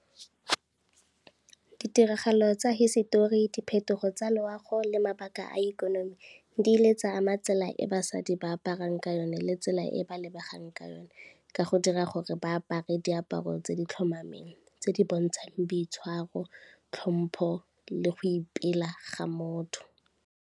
Ditiragalo tsa hisetori, diphetogo tsa loago le mabaka a ikonomi di ile tsa ama tsela e basadi ba aparang ka yone le tsela e ba lebegang ka yone, ka go dira gore ba apare diaparo tse di tlhomameng tse di bontshang boitshwaro, tlhompho le go ipela ga motho.